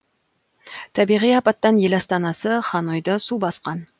табиғи апаттан ел астанасы ханойды су басқан